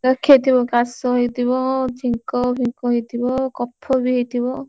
ଦେଖେଇଥିବୁ କାଶ ହେଇଥିବ